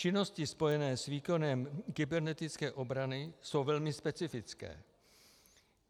Činnosti spojené s výkonem kybernetické obrany jsou velmi specifické.